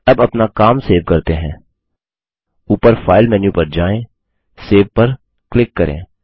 अब अपना काम सेव करते हैं ऊपर फाइल मेन्यू पर जाए सेव पर क्लिक करें